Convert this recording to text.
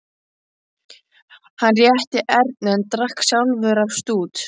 Hann rétti Erni en drakk sjálfur af stút.